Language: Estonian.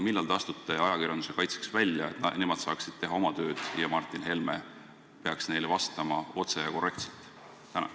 Millal te astute ajakirjanduse kaitseks välja, et nemad saaksid oma tööd teha, ja ütlete, et Martin Helme peaks neile vastama otse ja korrektselt?